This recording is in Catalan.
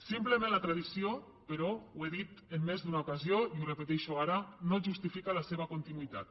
simplement la tradició però ho he dit en més d’una ocasió i ho repeteixo ara no justifica la seva continuïtat